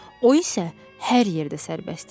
O isə hər yerdə sərbəst idi.